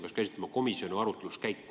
Kas ma saan õigesti aru?